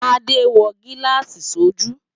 Tade n wò gilási sójú